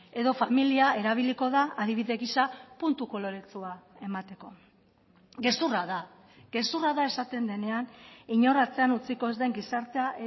edo familia erabiliko da adibide gisa puntu koloretsua emateko gezurra da gezurra da esaten denean inor atzean utziko ez den gizartea